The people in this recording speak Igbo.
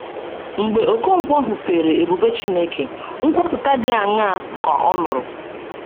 Mgbe Okonkwo hụpeere ebube Chineke, nkwupụta dị aṅaa ka ọ nụrụ?